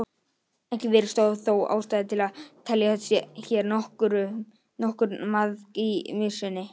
Ekki virðist þó ástæða til að telja hér nokkurn maðk í mysunni.